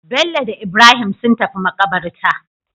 Bello da Ibrahim sun tafi makabarta